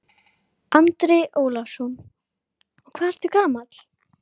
Andri Ólafsson: Og hvað ertu gamall?